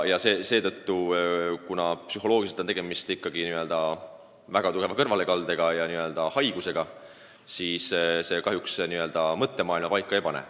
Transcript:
Psühholoogiliselt on tegemist ikkagi väga tugeva kõrvalekaldega, haigusega ning kastreerimine kahjuks mõttemaailma paika ei pane.